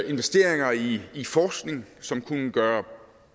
investeringer i i forskning som kunne gøre